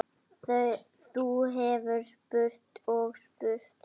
Þú hefðir spurt og spurt.